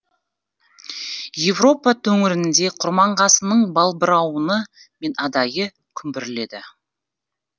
еуропа төңірінде құрманғазының балбырауыны мен адайы күмбірледі